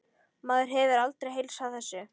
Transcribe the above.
Maður hefur aldrei heilsað þessu.